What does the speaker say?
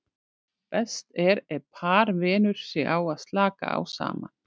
Best er ef par venur sig á að slaka á saman.